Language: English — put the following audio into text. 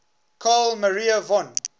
carl maria von